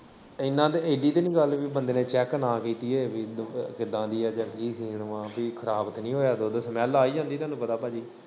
ਐਨਾ ਏਡੀ ਤਾਂਨੀ ਗੱਲ, ਬੰਦੇ ਨੇ ਚੈੱਕ ਨਾ ਕੀਤੀ ਹੋਵੇ, ਕਿਦਾ ਦੀ ਆ ਜਾਂ ਕੀ ਸੀਨ ਵਾ, ਖਰਾਬ ਤਾਂਨੀ ਹੋਇਆ ਦੁੱਧ ਸਮੈਲ ਆ ਹੀ ਜਾਂਦੀ, ਤੁਹਾਨੂੰ ਪਤਾ ਭਾਜੀ।